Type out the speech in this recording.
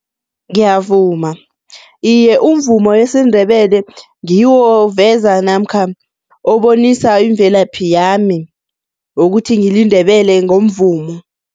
Ngiyavuma, iye, umvumo wesiNdebele ngiwo oveza namkha obonisa imvelaphi yami wokuthi ngiliNdebele ngomvumo.